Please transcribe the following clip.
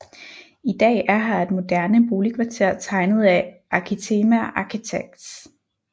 I dag er her et moderne boligkvarter tegnet af Arkitema Architects